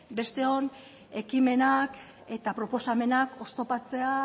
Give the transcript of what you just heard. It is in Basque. besteok ekimenak eta proposamenak oztopatzea